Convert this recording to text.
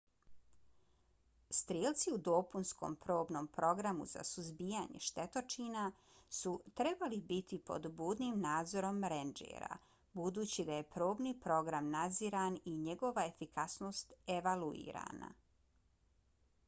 strijelci u dopunskom probnom programu za suzbijanje štetočina su trebali biti pod budnim nadzorom rendžera budući da je probni program nadziran i njegova efikasnost evaluirana